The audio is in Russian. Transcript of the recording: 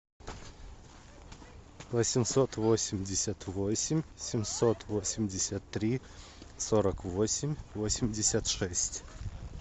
восемьсот восемьдесят восемь семьсот восемьдесят три сорок восемь восемьдесят шесть